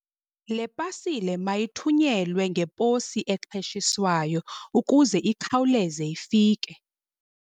Le pasile mayithunyelwe ngeposi exheshiswayo ukuze ikhawuleze ifike.